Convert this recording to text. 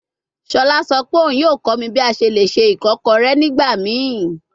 Shola sọ pe oun yoo kọ mi bi a ṣe le ṣe ikokore nigbamii